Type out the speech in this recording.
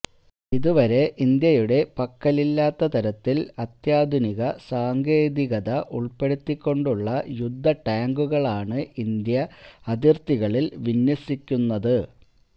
ഇതുവരെ ഇന്ത്യയുടെ പക്കലില്ലാത്ത തരത്തിൽ അത്യാധുനിക സാങ്കേതികത ഉൾപ്പെടുത്തിക്കൊണ്ടുള്ള യുദ്ധടാങ്കുകളാണ് ഇന്ത്യ അതിർത്തികളിൽ വിന്യസിക്കുന്നത്